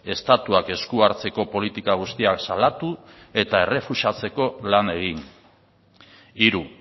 estatuak esku hartzeko politika guztiak salatu eta errefusatzeko lan egin hiru